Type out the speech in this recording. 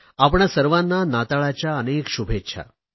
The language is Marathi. आपणा सर्वांना नाताळच्या अनेक शुभेच्छा